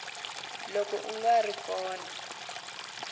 loko a nga ri kona